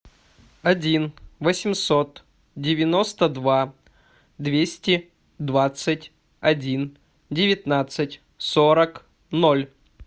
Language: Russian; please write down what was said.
один восемьсот девяносто два двести двадцать один девятнадцать сорок ноль